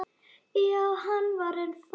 Já, hann er farinn